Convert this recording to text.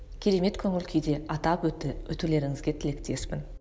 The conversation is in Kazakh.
керемет көңіл күйде атап өтулеріңізге тілектеспін